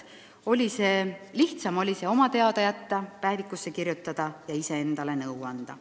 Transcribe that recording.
Lihtsam oli see oma teada jätta, päevikusse kirjutada ja iseendale nõu anda.